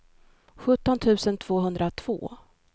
sjutton tusen tvåhundratvå